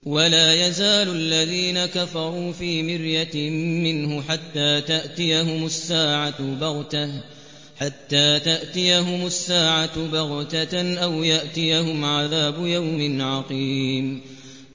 وَلَا يَزَالُ الَّذِينَ كَفَرُوا فِي مِرْيَةٍ مِّنْهُ حَتَّىٰ تَأْتِيَهُمُ السَّاعَةُ بَغْتَةً أَوْ يَأْتِيَهُمْ عَذَابُ يَوْمٍ عَقِيمٍ